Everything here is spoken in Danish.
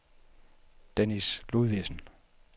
Dennis Ludvigsen